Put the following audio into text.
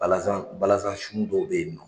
Balazan balazan sun dɔw bɛ ye nɔ.